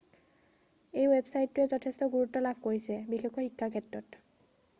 এই ৱেবছাইটটোৱে যথেষ্ট গুৰুত্ব লাভ কৰিছে বিশেষকৈ শিক্ষাৰ ক্ষেত্ৰত